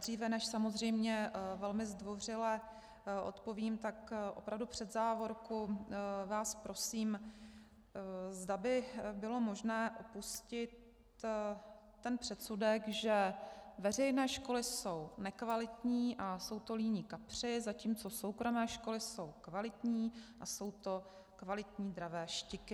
Dříve než samozřejmě velmi zdvořile odpovím, tak opravdu před závorku vás prosím, zda by bylo možné opustit ten předsudek, že veřejné školy jsou nekvalitní a jsou to líní kapři, zatímco soukromé školy jsou kvalitní a jsou to kvalitní dravé štiky.